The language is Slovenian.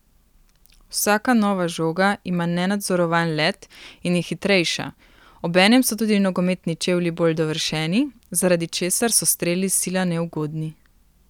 Vsaka nova žoga ima nenadzorovan let in je hitrejša, obenem so tudi nogometni čevlji bolj dovršeni, zaradi česar so streli sila neugodni.